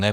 Ne?